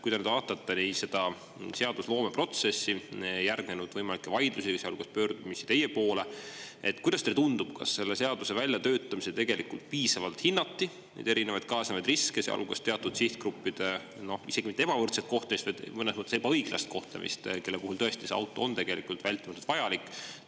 Kui te nüüd vaatate seda seadusloome protsessi – järgnenud vaidlusi ja ka pöördumisi teie poole –, kuidas teile tundub, kas selle seaduse väljatöötamisel hinnati piisavalt erinevaid kaasnevaid riske, sealhulgas teatud sihtgruppide, noh, isegi mitte ebavõrdset kohtlemist või mõnes mõttes ebaõiglast kohtlemist, kelle puhul tõesti auto on tegelikult vältimatult vajalik?